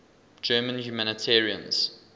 german humanitarians